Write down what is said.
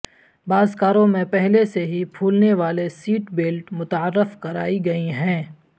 بعض کاروں میں پہلے سے ہی پھولنے والے سیٹ بیلٹ متعارف کرائی گئیں ہیں